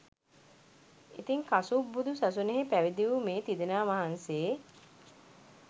ඉතින් කසුප් බුදු සසුනෙහි පැවිදි වූ මේ තිදෙනා වහන්සේ